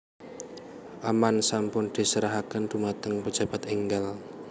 Amman sampun diserahaken dumateng pejabat enggal